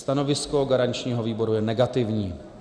Stanovisko garančního výboru je negativní.